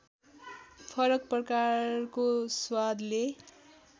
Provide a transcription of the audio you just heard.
फरक प्रकारको स्वादले